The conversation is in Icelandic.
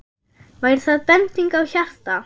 Væri það bending á hjarta?